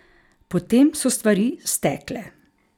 Potem so stvari stekle.